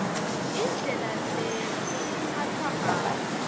indlela lekutsatfwa ngayo